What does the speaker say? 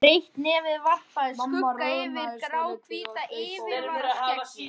Breitt nefið varpaði skugga yfir gráhvítt yfirvaraskeggið.